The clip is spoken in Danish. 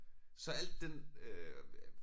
Så alt den øh